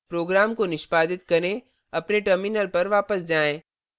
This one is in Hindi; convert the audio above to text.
program को निष्पादित करें अपने terminal पर वापस जाएँ